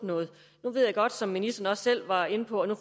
noget nu ved jeg godt som ministeren også selv var inde på